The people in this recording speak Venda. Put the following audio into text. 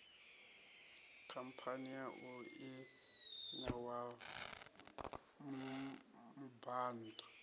khamphani yau i ṋewa mubhann